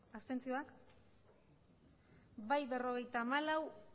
hirurogeita hamabost bai berrogeita hamalau